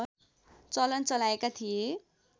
चलन चलाएका थिए